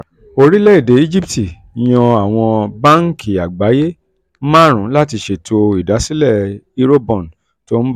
orílẹ̀-èdè egypt yan àwọn báńkì àgbáyé márùn-ún láti ṣètò ìdásílẹ̀ eurobond tó ń bọ̀